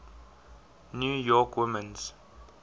new york women's